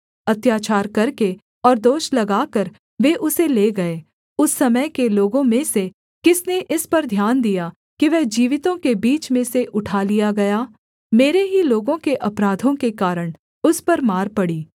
अत्याचार करके और दोष लगाकर वे उसे ले गए उस समय के लोगों में से किसने इस पर ध्यान दिया कि वह जीवितों के बीच में से उठा लिया गया मेरे ही लोगों के अपराधों के कारण उस पर मार पड़ी